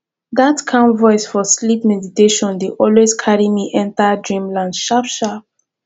that calm voice for sleep meditation dey always carry me enter dreamland sharp sharp